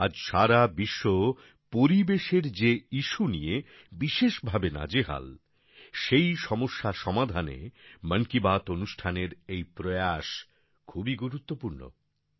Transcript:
আজ সারা বিশ্ব পরিবেশের যে ইশ্যু নিয়ে বিশেষভাবে নাজেহাল সেই সমস্যা সমাধানে মন কি বাত অনুষ্ঠানের এই প্রয়াস খুবই গুরুত্বপূর্ণ